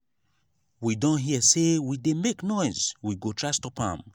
we don hear say we dey make noise we go try stop am.